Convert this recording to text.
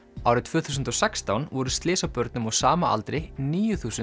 árið tvö þúsund og sextán voru slys á börnum á sama aldri níu þúsund